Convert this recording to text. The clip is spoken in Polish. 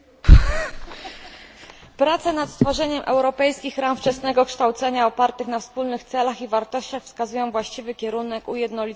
Prace nad stworzeniem europejskich ram wczesnego kształcenia opartych na wspólnych celach i wartościach wskazują właściwy kierunek ujednolicenia systemów edukacyjnych.